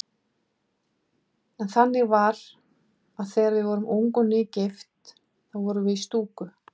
En þannig var að þegar við vorum ung og nýgift þá vorum við í stúku.